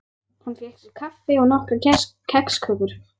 Hann fékk sér kaffi og nokkrar kexkökur.